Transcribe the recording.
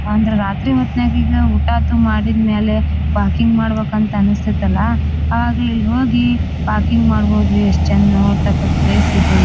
ಅಂದ್ರ ರಾತ್ರಿ ಹೊತ್ನ್ಯಾಗ ಈಗ ಊಟ ಅದು ಮಾಡಿದ್ ಮ್ಯಾಲೆ ವಾಕಿಂಗ್ ಮಾಡಬೇಕ ಅಂತ ಅನ್ನಿಸ್ತಾಯಿತಲ್ಲ ಆವಾಗ ಇಲ್ ಹೋಗಿ ವಾಕಿಂಗ್ ಮಾಡಬಹುದರಿ ಎಸ್ಟ್ ಚೆಂದ ನೋಡತಕ್ಕದ್ದ ಪ್ಲೇಸ್ ಇದೆ.